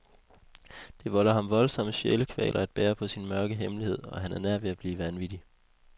Det volder ham voldsomme sjælekvaler at bære på sin mørke hemmelighed, og han er nær ved at blive vanvittig.